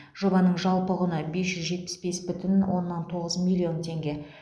жобаның жалпы құны бес жүз жетпіс бес бүтін оннан тоғыз миллион теңге